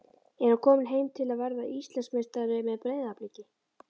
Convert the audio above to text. Er hann kominn heim til að verða Íslandsmeistari með Breiðabliki?